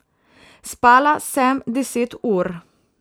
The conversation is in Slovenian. Spala sem deset ur.